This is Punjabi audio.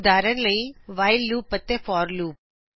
ਉਦਾਹਰਣਸਵਰੂਪ whileਲੂਪ ਅਤੇ forਲੂਪ